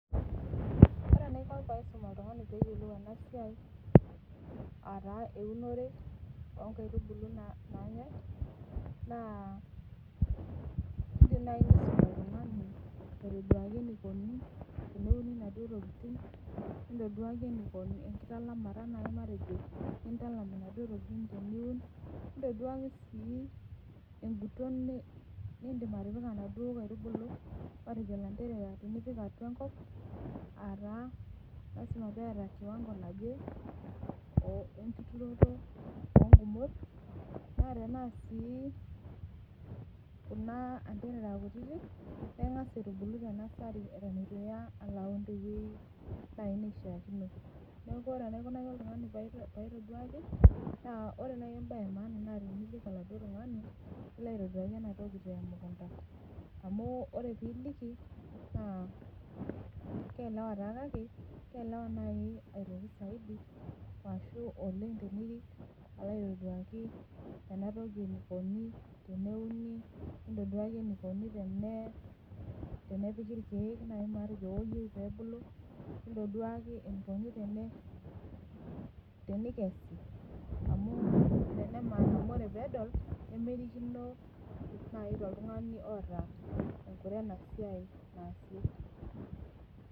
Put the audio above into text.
Ore enaikoni pee aisum oltungani pee eyiolou ena siai ,aa taa eunore inkaitubulu naanyae ,naa indim naaji nisum oltunganiaitoduaki enikoni teneuni naduo tokiting, nintoduaki akitalamata naji eninko tenintalam naduo tokiting teniun, nintoduaki sii enguton nindim atipika naduo kaitubului matejo matejo lanterera tinipik atua enkop, aa taa lasima pee eeta kiwanko naje nturoto oongumot ,naa tena sii kuna anterera kutitik, naa ingas aitubulu tenasary eitu iya alo aun teweji naaji neishaaakino. Neeku ore naaji enaikoni oltungani pee aitoduaki, naa ore naaji embae emaana naa tinirik oladuo tungani nilo aitoduaki ena toki temukunta amu ore pee eliki ,keelewa kake ,keelewa naaji oleng ashu zaidi tenirik alo aitoduaki enatoki enikoni teneuni, nintoduaki enikoni tenepiki naaji irkeek iyieu pee ebulu, nintoduaki enikoni tenikess, amu tenedol nemerikino toltungani naaji oota enkure enasiai naasie.